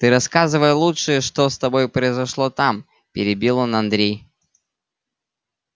ты рассказывай лучше что с тобой произошло там перебил он андрей